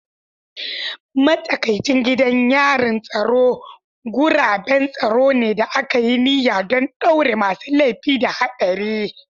Matsakaicin gidajen yarin tsaro guraben tsaro ne da aka yi niyya don ɗaure masu laifi da haɗari.